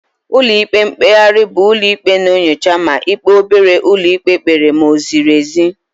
Ụlọ ikpe mkpegharị bụ ụlọ ikpe na-enyocha ma ikpe obere ụlọ ikpe kpere ma o ziri ezi.